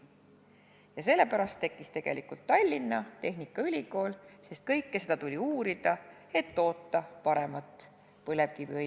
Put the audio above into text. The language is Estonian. Ja sellepärast tekkiski tegelikult Tallinna Tehnikaülikool, sest kogu seda valdkonda tuli uurida, et toota paremat põlevkiviõli.